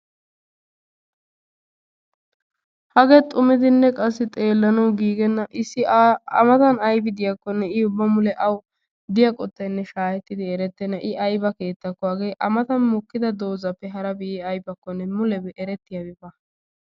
Hagee xumidinne qassi xeellanawu giigenna issi a matan ayibi diyaakkonnenne i ubba mule awu diya qottayinne shaahettidi erettenna i ayiba keettakko hagee a matan mokkida doozappe harabi aybakkonne mulebi erettiyabi baawa.